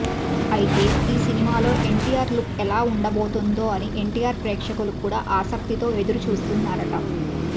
అయితే ఈ సినిమాలో ఎన్టీఆర్ లుక్ ఎలా ఉండబోతుందో అని ఎన్టీఆర్ ప్రేక్షకులు కూడా ఆసక్తితో ఎదురు చూస్తున్నారట